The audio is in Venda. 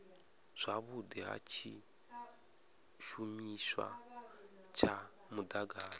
zwavhudi ha tshishumiswa tsha mudagasi